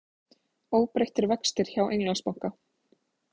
Óbreyttir vextir hjá Englandsbanka